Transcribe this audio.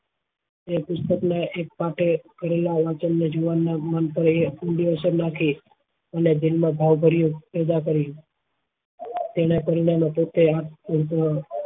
એ પુસ્તક ને એક પાપે કરેલા વચન ને જુવાન ના મંતવ્ય ઉંધી અસર નાખી અને જન્મ ભાવ ભરી પેદા કરી તેના કરેલા મદદ એ